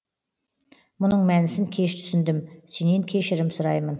мұның мәнісін кеш түсіндім сенен кешірім сұраймын